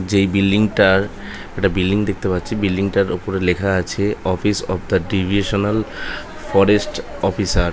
যেই বিল্ডিং টার একটা বিল্ডিং দেখতে পাচ্ছি বিল্ডিং তাঁর ওপরে লেখা আছে office of the divisional forest officer.